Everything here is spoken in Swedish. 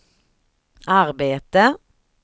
arbete